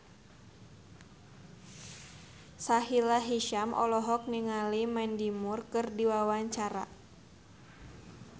Sahila Hisyam olohok ningali Mandy Moore keur diwawancara